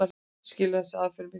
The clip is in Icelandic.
Skilar þessi aðferð miklu?